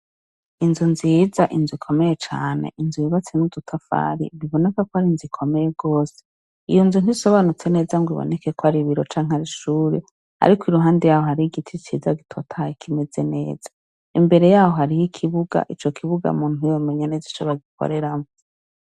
Inzu nziza, inzu ikomeye cane, inzu yubatse n'udutafari biboneka ko ari inzu ikomeye rwose. Iyo nzu ntisobanutse neza ngo iboneke ko ari ibiro canke ari ishure ariko iruhande yaho hari igiti ciza gitotahaye kimeze neza. Imbere yaho hariho ikibuga ico kibuga umuntu ntiyomenya neza ico bagikoreramwo.